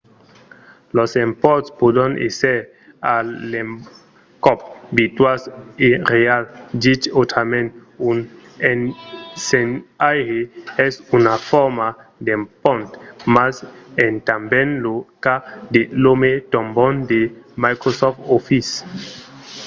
los emponts pòdon èsser a l'encòp virtuals e reals dich autrament un ensenhaire es una forma d'empont mas es tanben lo cas de l'òme trombòn de microsoft office